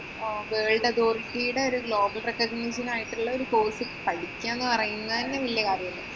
world authority യുടെ ഒരു global recognition ആയിട്ട് ഉള്ള ഒരു course പഠിക്കുക എന്ന് പറയുന്നത് തന്നെ വല്യ കാര്യമല്ലേ.